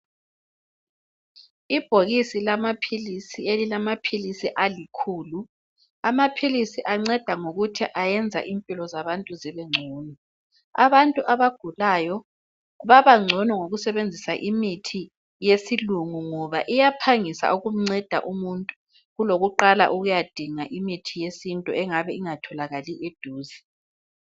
Ibhokisi lamaphilisi elilamaphilisi alikhulu, amaphilisi anceda ngokuthi ayenza impilo zabantu zibengcono. Abantu abagulayo babangcono ngokusebenzisa imithi yesilungu ngoba iyaphangisa ukumnceda umuntu kulokuqala ukuyadinga imithi yesintu engabe ingatholakali eduze.